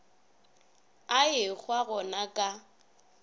a ehwa go na ka